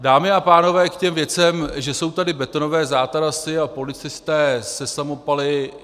Dámy a pánové, k těm věcem, že jsou tady betonové zátarasy a policisté se samopaly.